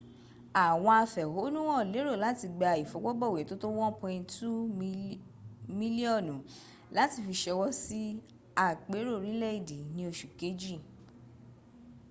àwọn afẹ̀hohnúhàn lérò láti gba ìfọwọ́bọ̀wé tó tó 1.2 miliọnu láti fi ṣọwọ́ sí àpérò orílẹ̀èdè ni oṣu kejìl